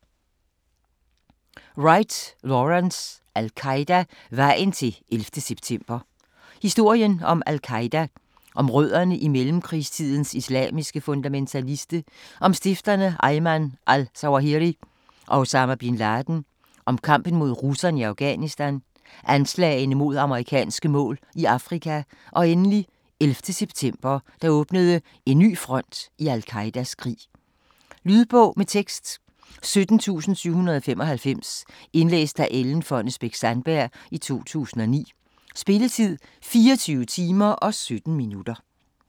Wright, Lawrence: Al-Qaida - vejen til 11. september Historien om al-Qaida, om rødderne i mellemkrigstidens islamiske fundamentalisme, om stifterne Ayman al-Zawahiri og Osama bin Laden, om kampen mod russerne i Afghanistan, anslagene mod amerikanske mål i Afrika og endelig 11. september, der åbnede en ny front i al-Qaidas krig. Lydbog med tekst 17795 Indlæst af Ellen Fonnesbech-Sandberg, 2009. Spilletid: 24 timer, 17 minutter.